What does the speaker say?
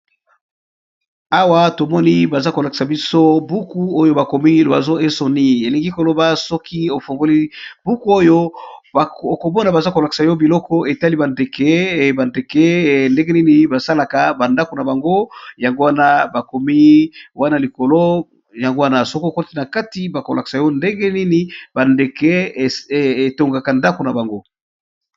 awa tomoni baza kolakisa biso buku oyo bakomi elingi koloba soki ofongoli buku oyo okomona baza kolakisa yo biloko etali bandeke bandeke ndenge nini basalaka bandako na bango yangwana bakomi wana likolo yangwana soki okoti na kati bakolakisa yo ndengenini bandeke etongaka ndako na bango